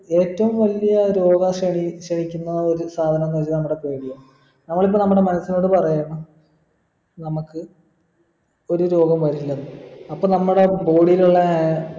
ഏറ്റവും വലിയ രോഗ ക്ഷണി ക്ഷണിക്കുന്ന ഒരു സാധനംന്ന് വെച്ച നമ്മടെ പേടിയാണ് നമ്മളിപ്പോ നമ്മടെ മനസ്സിനോട് പാറയാണ് നമ്മക്ക് ഒരു രോഗം വരില്ലെന്ന് അപ്പോൾ നമ്മടെ body യിലുള്ള ആ